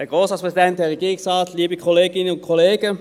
Kommissionssprecher der FiKo.